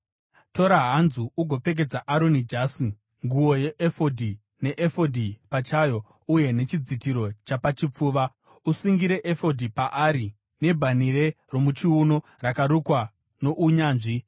Tora hanzu ugopfekedza Aroni jasi, nguo yeefodhi neefodhi pachayo uye nechidzitiro chapachipfuva. Usungire efodhi paari nebhanhire romuchiuno rakarukwa nounyanzvi.